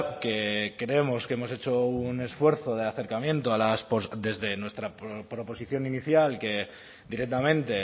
que creemos que hemos hecho un esfuerzo de acercamiento desde nuestra proposición inicial que directamente